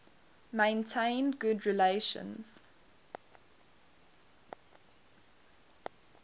maintained good relations